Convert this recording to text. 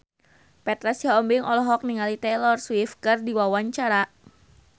Petra Sihombing olohok ningali Taylor Swift keur diwawancara